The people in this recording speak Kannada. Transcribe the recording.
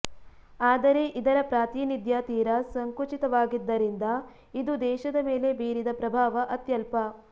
ಆದರೆ ಇದರ ಪ್ರಾತಿನಿಧ್ಯ ತೀರ ಸಂಕುಚಿತವಾಗಿದ್ದರಿಂದ ಇದು ದೇಶದ ಮೇಲೆ ಬೀರಿದ ಪ್ರಭಾವ ಅತ್ಯಲ್ಪ